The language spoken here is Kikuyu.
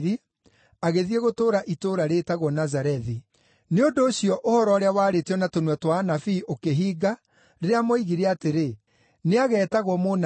agĩthiĩ gũtũũra itũũra rĩĩtagwo Nazarethi. Nĩ ũndũ ũcio ũhoro ũrĩa waarĩtio na tũnua twa anabii ũkĩhinga, rĩrĩa moigire atĩrĩ, “Nĩageetagwo Mũnazari.”